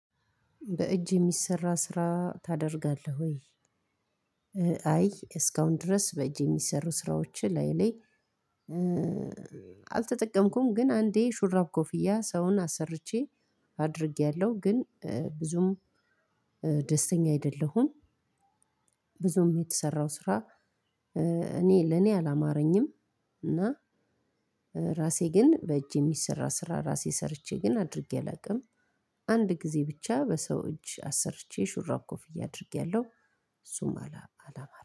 በእጅ የሚሰራ ስራ ታደርጋለህ ወይ? አይ እስካሁን ድረስ በእጅ የሚሰሩ ስራዎች እላየ ላይ። አልተጠቀምኩም ግን አንዴ ሹራብ ኮፍያ ሰውን አሰርቼ አድርጌያለሁ። ግን ብዙም ደስተኛ አይደለሁም። ብዙም የተሰራው ስራ እኔ ለኔ አላማረኝም። እና ራሴ ግን በእጅ የሚሰራ ስራ ራሴ ሰርቼ ግን አድርጌ አላውቅም። አንድ ጊዜ ብቻ በሰው እጅ አሰርቼ ሹራብ ኮፍያ አድርጌያለሁ። እሱም አላ ሀ